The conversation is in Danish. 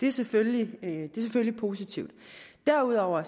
er selvfølgelig positivt derudover